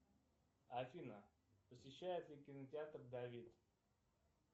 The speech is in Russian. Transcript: афина посещает ли кинотеатр давид